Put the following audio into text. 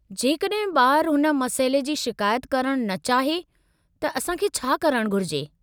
जेकॾहिं ॿार हुन मसइले जी शिकायत करणु न चाहे त असां खे छा करणु घुरिजे?